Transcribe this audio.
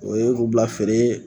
O ye u bila feere.